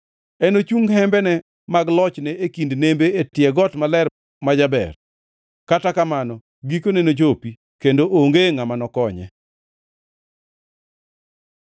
Enochung hembene mag lochne e kind nembe e tie got maler ma jaber. Kata kamano gikone nochopi, kendo onge ngʼama nokonye.